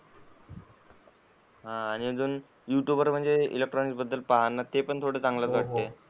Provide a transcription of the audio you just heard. हा म्हणजे अजून यूट्यूब वर अजून इलेक्ट्रॉनिक्स बद्दल पहा ना ते पण थोडं चांगलाच वाटतंय.